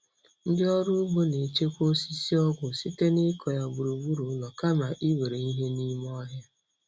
Ndị ọrụ ugbo na-echekwa osisi ọgwụ site n'ịkọ ya gburugburu ụlọ kama iwere ihe n'ime ọhịa.